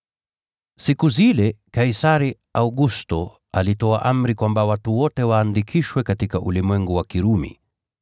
Siku zile Kaisari Augusto alitoa amri kwamba watu wote waandikishwe katika ulimwengu wa Kirumi.